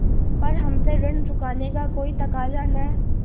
पर हमसे ऋण चुकाने का कोई तकाजा न